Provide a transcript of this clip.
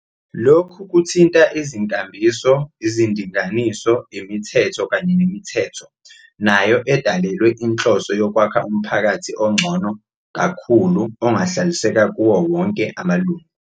Lokhu kuthinta izinkambiso, izindinganiso, imithetho kanye nemithetho, nayo edalelwe inhloso yokwakha umphakathi ongcono kakhulu ongahlaliseka kuwo wonke amalungu.